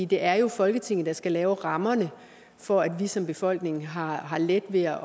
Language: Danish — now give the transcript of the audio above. det er jo folketinget der skal lave rammerne for at vi som befolkning har har let ved at